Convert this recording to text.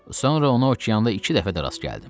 Sonra onu okeanda iki dəfə də rast gəldim.